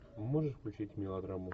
можешь включить мелодраму